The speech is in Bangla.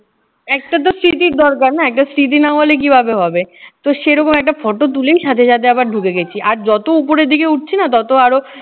একটাতো স্মৃতি দরকার না? একটা স্মৃতি না হলে কিভাবে হবে? তো সেই রকম একটা photo তুলেই সাথে সাথে আবার ঢুকে গেছি আর যত উপরে দিকে উঠছি না ততো আরও